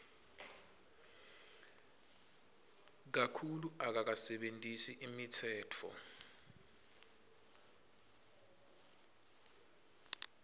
kakhulu akakasebentisi imitsetfo